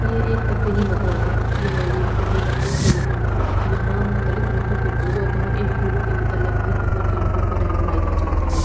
ये एक तफरीही मकाम है यहां लोग सहरो तफरीह के लिए आते हैं यहां मुक्तलिफ रंगों के फूल होते हैं इन फूलों के मुतालिक हर उम्र के लोगों को रहनुमाई दी जाती है।